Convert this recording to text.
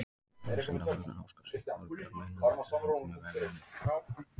Vísindavefurinn óskar Sigþóri Bjarma innilega til hamingju með verðlaunin!